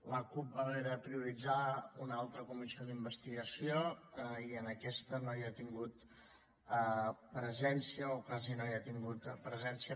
la cup va haver de prioritzar una altra comissió d’investigació i en aquesta no hi ha tingut presència o quasi no hi ha tingut presència